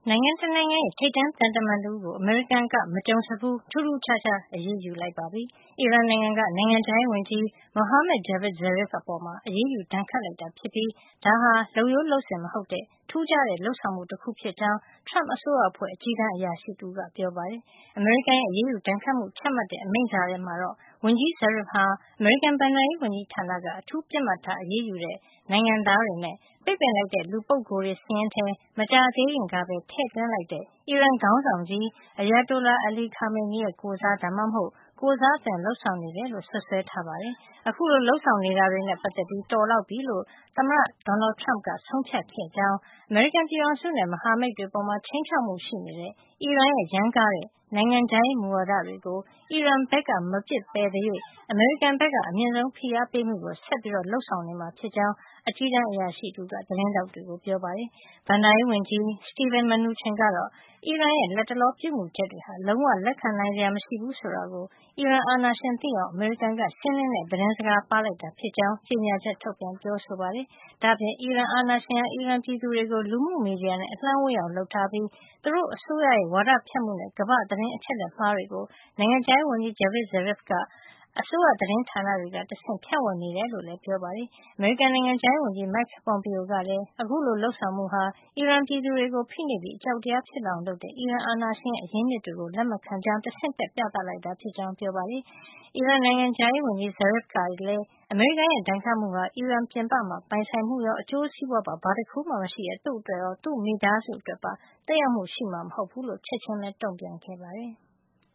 ိုင်ငံရဲ့ ထိပ်တန်းသံတမန်တဦးကို အမေရိကန်က မကြုံစဖူး ထူးထူးခြားခြား အရေးယူလိုက်ပါပြီ။ အီရန်နိုင်ငံက နိုင်ငံခြားရေးဝန်ကြီး Mohammad Javad Zarif အပေါ် အရေးယူ ဒဏ်ခတ်လိုက်တာ ဖြစ်ပြီး ဒါဟာ လုပ်ရိုးလုပ်စဉ်မဟုတ်တဲ့ ထူးခြားတဲ့ခြားလုပ်ဆောင်မှု တခုဖြစ်ကြောင်း Trump အစိုးရအဖွဲ့ အကြီးတန်းအရာရှိ တဦးက ပြောပါတယ်။ အမေရိကန်ရဲ့ အရေးယူဒဏ်ခတ်မှု ချမှတ်တဲ့ အမိန့်စာထဲမှာတော့ ဝန်ကြီး Zarif ဟာ အမေရိကန် ဘဏ္ဍာရေးဝန်ကြီးဌာနက အထူး ပစ်မှတ်ထား အရေးယူတဲ့ နိုင်ငံသားတွေနဲ့ ပိတ်ပင်လိုက်တဲ့ လူပုဂ္ဂိုလ်တွေ စာရင်းထဲ မကြာသေးခင်ကပဲ ထည့်သွင်းလိုက်တဲ့ အီရန် ခေါင်းဆောင်ကြီး Ayatollah Ali Khamenei ရဲ့ ကိုယ်စား ဒါမှမဟုတ် ကိုယ်စားအသွင် လုပ်ဆောင်နေတယ်လို့ စွပ်စွဲထားပါတယ်။ အခုလို လုပ်ဆောင်နေတာတွေနဲ့ ပတ်သက်ပြီး တော်လောက်ပြီလို့ သမ္မတ Donald Trump က ဆုံးဖြတ်ခဲ့ကြောင်း၊ အမေရိကန် ပြည်ထောင်စုနဲ့ မဟာမိတ်တွေပေါ် ခြိမ်းခြောက်မှု ရှိနေတဲ့ အီရန်ရဲ့ ရမ်းကားတဲ့ နိုင်ငံခြားရေးမူဝါဒတွေကို အီရန်ဘက်က မပစ်ပယ်သရွေ့ အမေရိကန်က အမြင့်ဆုံး ဖိအားပေးမှုကို ဆက်လက် လုပ်ဆောင်နေမှာ ဖြစ်ကြောင်း အကြီးတန်းအရာရှိတဦးက သတင်းထောက်တွေကို ပြောပါတယ်။ ဘဏ္ဍာရေးဝန်ကြီး Steven Mnuchin ကတော့ အီရန်ရဲ့ လတ်တလော ပြုမှုချက်တွေဟာ လုံးဝ လက်ခံနိုင်စရာမရှိဘူးဆိုတာကို အီရန်အာဏာရှင် သိအောင် အမေရိကန်က ရှင်းလင်းတဲ့ သတင်းစကား ပါးလိုက်တာဖြစ်ကြောင်း ကြေညာချက် ထုတ်ပြန် ပြောဆိုပါတယ်။ ဒါ့အပြင် အီရန်အာဏာရှင်ဟာ အီရန်ပြည်သူတွေကို လူမှုမီဒီယာနဲ့ အလှမ်းဝေးအောင်လုပ်ထားပြီး သူတို့အစိုးရရဲ့ ဝါဒဖြန့်မှုတွေနဲ့ ကမ္ဘာ့သတင်း အချက်လက်မှားတွေကို နိုင်ငံခြားရေးဝန်ကြီး Javad Zarif က အစိုးရသတင်းဌာန တွေကနေတဆင့် ဖြန့်ဝေနေတယ်လို့လည်း ပြောပါတယ်။ အမေရိကန် နိုင်ငံခြားရေးဝန်ကြီး Mike Pompeo ကလည်း အခုလို လုပ်ဆောင်မှုဟာ အီရန်ပြည်သူတွေကို ဖိနှိပ်ပြီး အကြောက်တရား ဖြစ်လာအောင် လုပ်တဲ့ အီရန်အာဏာရှင်ရဲ့ အရင်းအမြစ်တွေကို လက်မခံကြောင်း တဆင့်တက်ပြီး ပြသလိုက်တာ ဖြစ်ကြောင်း ပြောပါတယ်။ အီရန်နိုင်ငံခြားရေးဝန်ကြီး Zarif ကလည်း အမေရိကန်ရဲ့ ဒဏ်ခတ်မှုဟာ အီရန်ပြင်ပမှာ ပိုင်ဆိုင်မှုရော အကျိုးစီးပွါးရေး ဘာတခုမှ မရှိတဲ့ သူ့အတွက်ရော သူ့မိသားစုအတွက်ပါ သက်ရောက်မှု ရှိမှာ မဟုတ်ကြောင်း ချက်ချင်းပဲ တုန့်ပြန်ခဲ့ပါတယ်။